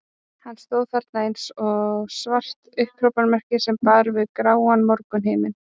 Hann stóð þarna eins og svart upphrópunarmerki sem bar við gráan morgunhimininn.